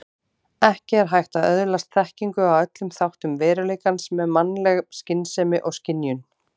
Ekki er hægt að öðlast þekkingu á öllum þáttum veruleikans með mannleg skynsemi og skynjun.